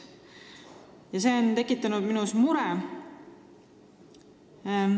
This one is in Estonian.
Ja see on mind muretsema pannud.